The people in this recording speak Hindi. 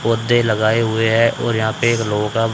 पोधै लगाए हुए है और यहां पे एक लोगो का--